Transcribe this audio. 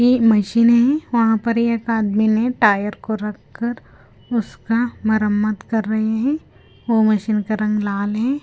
की मशीन है वहां पर एक आदमी ने टायर को रखकर उसका मरम्मत कर रहे हैं वो मशीन का रंग लाल हे।